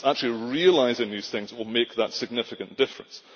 It is actually realising these things that will make the significant difference.